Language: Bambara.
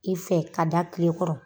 I fɛ k'a da tile kɔrɔ